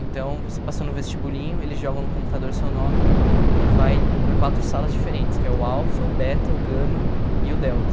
Então, você passa no vestibulinho, eles jogam no computador seu nome e vai para quatro salas diferentes, que é o Alpha, o Beta, o Gamma e o Delta.